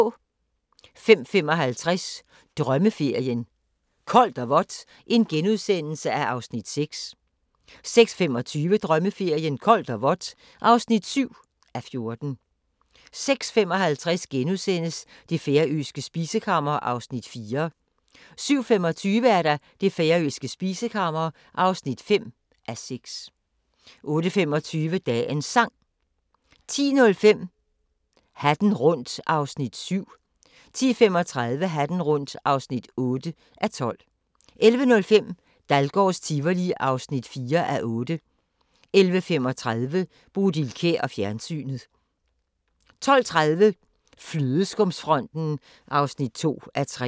05:55: Drømmeferien: Koldt og vådt (6:14)* 06:25: Drømmeferien: Koldt og vådt (7:14) 06:55: Det færøske spisekammer (4:6)* 07:25: Det færøske spisekammer (5:6) 08:25: Dagens Sang 10:05: Hatten rundt (7:12) 10:35: Hatten rundt (8:12) 11:05: Dahlgårds Tivoli (4:8) 11:35: Bodil Kjer og fjernsynet 12:30: Flødeskumsfronten (2:3)